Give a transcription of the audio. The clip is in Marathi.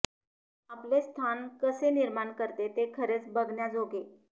आपले स्थान कसे निर्माण करते ते खरेच बघण्या जोगे